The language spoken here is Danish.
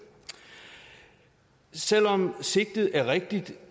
selv om sigtet er rigtigt